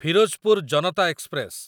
Firozpur Janata express